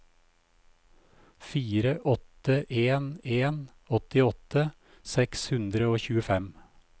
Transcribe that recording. fire åtte en en åttiåtte seks hundre og tjuefem